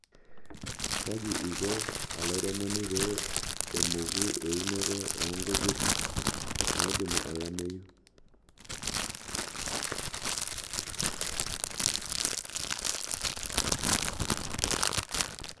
Kaji iko olairemoni pee emoku eunoto oo nkujit naidimu olameyu?